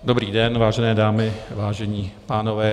Dobrý den, vážené dámy, vážení pánové.